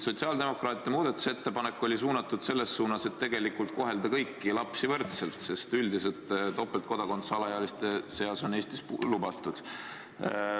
Sotsiaaldemokraatide muudatusettepanek oli selles suunas, et tegelikult kohelda kõiki lapsi võrdselt, sest üldiselt on topeltkodakondsus alaealiste seas Eestis lubatud.